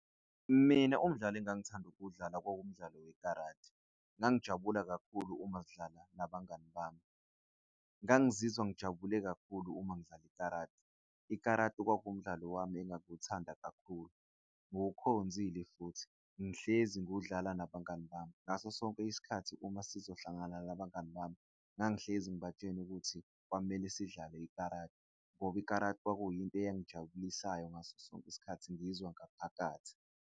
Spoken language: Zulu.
Mina umdlalo engithanda ukuwudlala kwakuwu mdlalo we karate ngangijabula kakhulu uma sidlala nabangani bami, ngangizizwa ngijabule kakhulu uma ngidlala i-karate kwakuwumdlalo wami engangiwuthanda kakhulu. Ngikukhonzile futhi ngihlezi ngiwudlale nabangani bami. Ngaso sonke isikhathi uma sizohlangana nabangani bami, ngangihlezi ngibatshena ukuthi kwamele sidlale i-karate ngoba i-karate. Kwakuyinto eyayingijabulisayo ngaso sonke isikhathi ngizwa ngaphakathi.